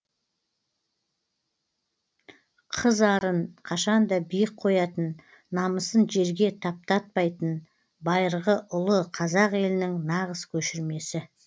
қыз арын қашан да биік қоятын намысын жерге таптатпайтын байырғы ұлы қазақ елінің нағыз көшірмесі